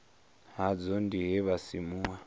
hadzo ndi he ha simuwa